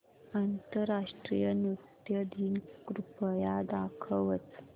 आंतरराष्ट्रीय नृत्य दिन कृपया दाखवच